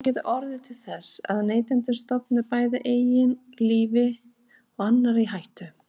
Þetta getur orðið til þess að neytandinn stofni bæði eigin lífi og annarra í hættu.